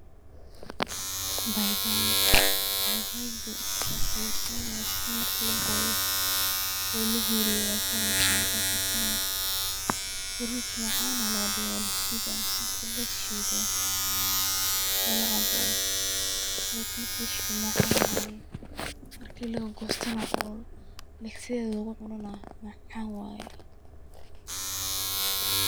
Baibai, baibaidu way qeeyrin lakin markii lagooyo oo lahuuriyo way kaareysa markay kartona frut macaan aa laga dhigaa waa lashiida, markii lashiido oo lacaabo, like markii lashiido macaan waye, markii lagoosto na oo sideyda lugu cuno na macaan waye